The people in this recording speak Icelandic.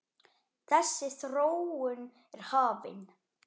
Þessi þróun er hafin.